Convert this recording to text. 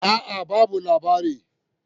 A'a, babu labari